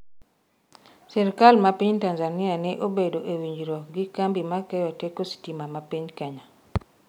Sirikal ma piny Tanzania ne obedo e winjruok gi kambi ma keyo teko sitima ma piny Kenya